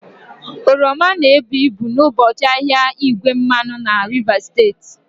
Oroma na-ebu ibu n'ụbọchị ahịa igwe mmanụ na Rivers steeti